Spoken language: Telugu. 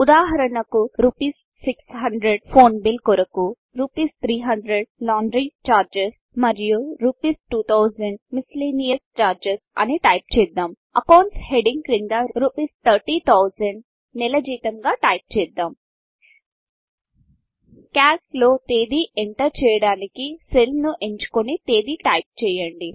ఉదాహరణకు రుపీస్ 600 ఫోన్ బిల్ కొరకు రుపీస్ 300 లాండ్ర్ చార్జస్ మరియు రుపీస్ 2000 మిసిలేనీయియస్ చార్జస్ అని టైప్ చేస్తాం Accountsఅకౌంట్స్ హెడ్డింగ్ క్రింద రుపీస్ ౩౦౦౦౦ నెల జీతం గా టైప్ చేద్దాం క్యాల్క్ లో తేదీ ఏటెర్ చేయడానికి సెల్ ని ఎంచుకొని తేదీ టైప్ చేయండి